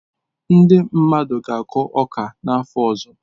Ndị mmadụ ga-akụ ọka n'afọ ọzọ.